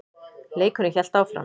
Leikurinn hélt áfram.